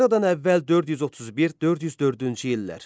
Eradan əvvəl 431-404-cü illər.